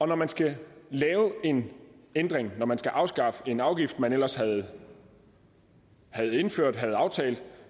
når man skal lave en ændring når man skal afskaffe en afgift man ellers havde indført havde aftalt